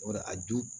O de a dun